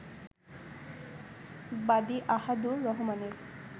বাদি আহাদুর রহমানের